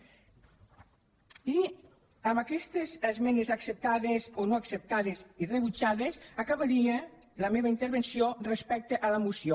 i amb aquestes esmenes acceptades o no acceptades i rebutjades acabaria la meva intervenció respecte a la moció